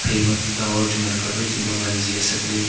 emak tawar chu ngan kap ai chu ma wan ji asap ley.